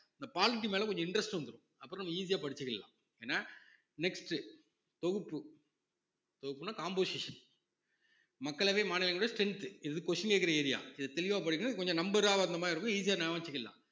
இந்த மேல கொஞ்சம் interest வந்துரும் அப்புறம் நம்ம easy யா படிச்சுக்கலாம் ஏன்னா next உ தொகுப்பு தொகுப்புன்னா composition மக்களவை, மாநிலங்களவை strength இது question கேட்கிற area இத தெளிவாக படிக்கணும் கொஞ்சம் number ஆ வந்த மாதிரி இருக்கும் easy ஆ ஞாபகம் வச்சுக்கலாம்